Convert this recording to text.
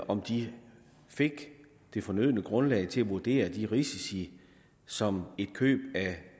om de fik det fornødne grundlag til at vurdere de risici som et køb af